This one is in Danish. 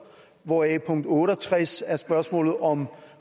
hvoraf punkt otte og tres er spørgsmålet om